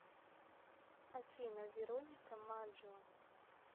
афина вероника маджио